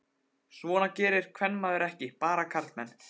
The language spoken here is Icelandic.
Svona gerði kvenmaður ekki, bara karlmenn.